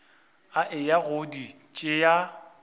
a eya go di tšea